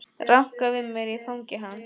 Ranka við mér í fangi hans.